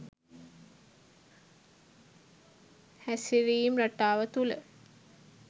හැසිරීම් රටාව තුළ